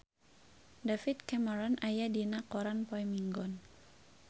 David Cameron aya dina koran poe Minggon